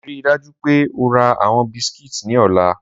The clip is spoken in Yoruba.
Rii daju pe o ra awọn biscuits ni ọla!